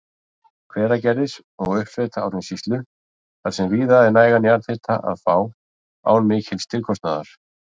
Hveragerðis og uppsveita Árnessýslu þar sem víða er nægan jarðhita að fá án mikils tilkostnaðar.